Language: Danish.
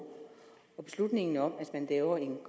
og beslutningen om at man laver en